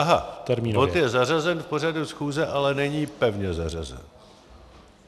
Aha, bod je zařazen v pořadu schůze, ale není pevně zařazen.